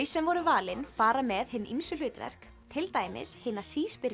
sem voru valin fara með hin ýmsu hlutverk til dæmis hina